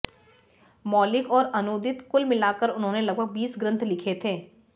मौलिक और अनूदित कुल मिलाकर उन्होंने लगभग बीस ग्रन्थ लिखे थे